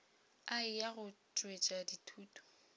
a eya go tšwetša dithuto